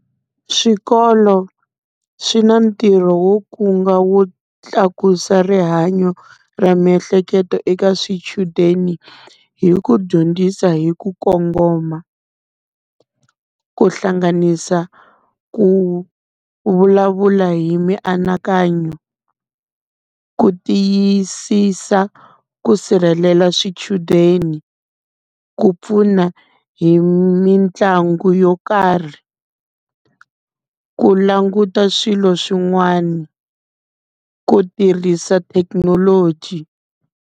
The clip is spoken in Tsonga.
Swikolo swi na ntirho wo kunga wo tlakusa rihanyo ra miehleketo eka swichudeni, hi ku dyondzisa hi ku kongoma. Ku hlanganisa ku vulavula hi mianakanyo, ku tiyisisa ku sirhelela swichudeni, ku pfuna hi mitlangu yo karhi, ku languta swilo swin'wana, ku tirhisa thekinoloji.